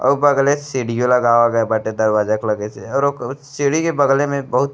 और बगले से सीढ़ियों लगावल गईल बाटे दरवाजा के लगे से और उ क सीढी के बगले में बहुत --